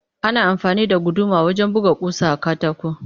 Ana amfani da guduma wajen buga ƙusa a katako